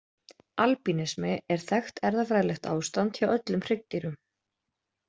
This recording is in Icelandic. Albínismi er þekkt erfðafræðilegt ástand hjá öllum hryggdýrum.